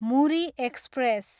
Muri express